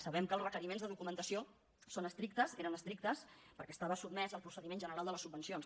sabem que els requeriments de documentació són estrictes eren estrictes perquè estava sotmès al procediment general de les subvencions